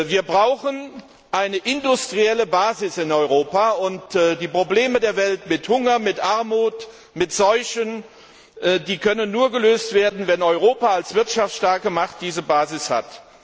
Wir brauchen eine industrielle Basis in Europa, und die Probleme der Welt wie Hunger, Armut, Seuchen können nur gelöst werden, wenn Europa als wirtschaftsstarke Macht diese Basis hat.